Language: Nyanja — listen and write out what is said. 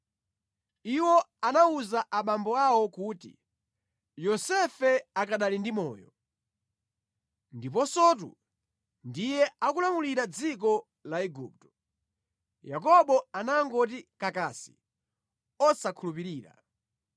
Iwo anawuza abambo awo kuti, “Yosefe akanali ndi moyo! Ndiponsotu, ndiye akulamulira dziko la Igupto.” Yakobo anangoti kakasi osankhulupirira.